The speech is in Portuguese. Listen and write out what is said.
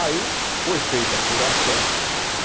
Aí foi feita a apuração, né?